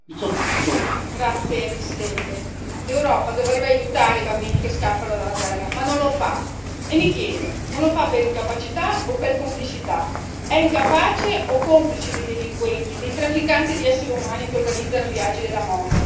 Signor Presidente, onorevoli colleghi, l'Europa dovrebbe aiutare i bambini che scappano dalla guerra, ma non lo fa e mi chiedo non lo fa per incapacità o per complicità è incapace o complice dei delinquenti, dei trafficanti di essere umani che organizzano viaggi della morte?